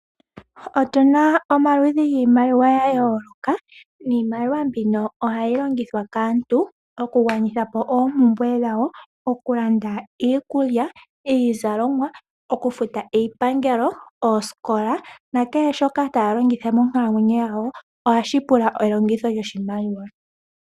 Otu na omaludhi giimaliwa ga yooloka niimaliwa mbino oha yi longithwa kaantu okugwanithapo oompumbwe dhawo, okulanda iikulya, iizalomwa, okufuta iipangelo, oosikola nakehe shoka taya longitha monkalamwenyo yawo oha shi pula elongitho lyoshimaliwa.